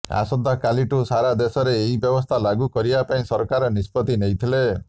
ଆସନ୍ତାକାଲିଠୁ ସାରା ଦେଶରେ ଏହି ବ୍ୟବସ୍ଥା ଲାଗୁ କରିବା ପାଇଁ ସରକାର ନିଷ୍ପତ୍ତି ନେଇଥିଲେ